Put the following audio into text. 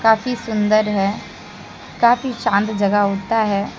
काफी सुंदर है काफी शान्त जगह होता है।